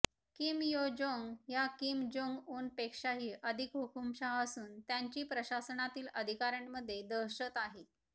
Kim Yo Jong ह्या Kim Jong उनपेक्षाही अधिक हुकूमशाह असून त्यांची प्रशासनातील अधिकाऱ्यांमध्ये दहशत आहे